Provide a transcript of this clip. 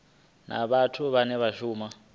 na vhathu vhane vha shuma